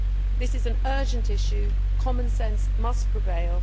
This is an urgent issue and common sense must prevail.